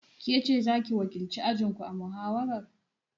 Kece zaki wakilci ajinku a muhawara?